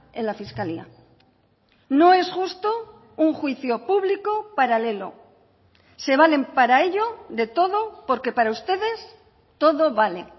en la fiscalía no es justo un juicio público paralelo se valen para ello de todo porque para ustedes todo vale